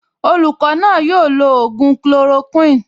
Olùkọ́ náà yóò lo ògùn chloroquine